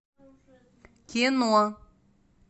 кино